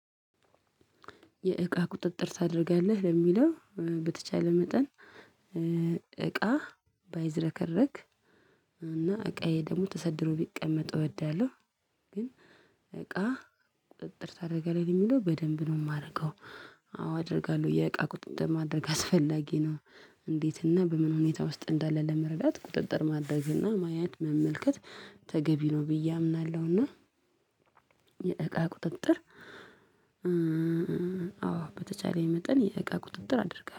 የእቃ ቁጥጥር ታደርጋለህ ለሚለው በተቻለ መጠን። እቃ ባይዘረከረክ እና እቃዬ ደግሞ ተሰድሮ ቢቀመጥ እወዳለሁ። ግን እቃ ቁጥጥር ታደርጋለህ የሚለው በደንብ ነው የማደርገው። አዎ አደርጋለሁ የእቃ ቁጥጥር ማድረግ አስፈላጊ ነው። እንዴት እና በምን ሁኔታ ውስጥ እንዳለ ለመረዳት ቁጥጥር ማድረግ እና ማየት መመልከት ተገቢ ነው ብዬ አምናለሁ። እና የእቃ ቁጥጥር። አዎ በተቻለኝ መጠን የእቃ ቁጥጥር አድርጋለሁ